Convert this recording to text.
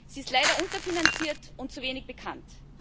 Sie ist leider unterfinanziert und zu wenig bekannt.